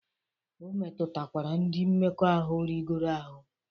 O metụtakwara ndị mmekọahụ rigoro ahụ.